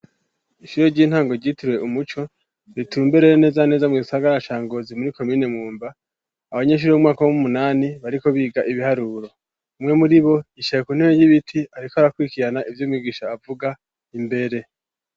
Ishure ry'intango ryitirwe umuco ritumbereye neza neza mu gisagara ca Ngozi muri komine Mwumba abanyeshure bo mu mwaka w'umunani bariko biga ibiharuro. umwe muri bo yicaye ku ntebe y'ibiti ariko arakwirikirana ivyo umwigisha avuga imbere.